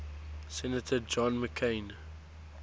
senator john mccain